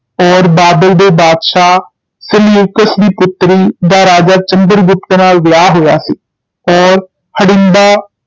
ਔਰ ਬਾਬਿਲ ਦੇ ਬਾਦਸ਼ਾਹ ਸਲਿਊਕਸ ਦੀ ਪੁਤ੍ਰੀ ਦਾ ਰਾਜਾ ਚੰਦਰ ਗੁਪਤ ਨਾਲ ਵਿਆਹ ਹੋਇਆ ਸੀ ਔਰ ਹੜਿੰਬਾ